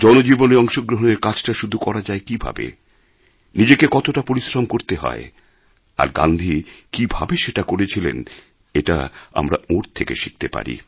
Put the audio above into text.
জনজীবনে অংশগ্রহণের কাজটা শুরু করা যায় কীভাবে নিজেকে কতটা পরিশ্রম করতে হয় আর গান্ধী কীভাবে সেটা করেছিলেন এটা আমরা ওঁর থেকে শিখতে পারি